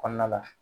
Kɔnɔna la